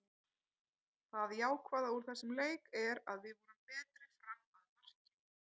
Það jákvæða úr þessum leik er að við vorum betri fram að markinu.